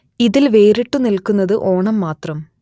ഇതിൽ വേറിട്ടു നിൽക്കുന്നത് ഓണം മാത്രം